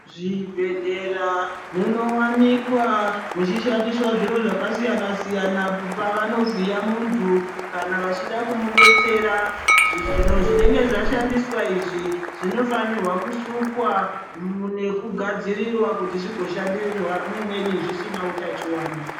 Zvibhedhlera munowanilkwa muchishandiswa zviro zvakasiyana-siyana apo pavanovhiya muntu kana vachida kumudetsera. Zvinenge zvashandiswa izvi zvinofanirwa kusukwa nekugadzirirwa kuti zvigoshandisirwa umweni zvisina utachiwana.